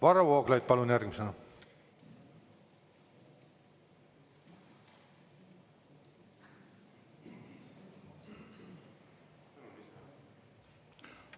Varro Vooglaid, palun järgmisena!